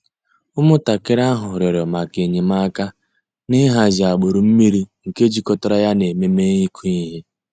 Ụ́mụ̀ntàkìrì àhụ̀ rị̀ọrọ̀ mǎká enyèmàkà n'ị̀hàzì àgbùrù mmìrì nke jìkọ̀tàrà yà nà emèmé́ ị̀kụ̀ íhè.